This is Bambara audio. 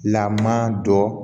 Laman dɔ